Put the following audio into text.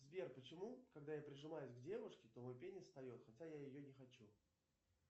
сбер почему когда я прижимаюсь к девушке то мой пенис встает хотя я ее не хочу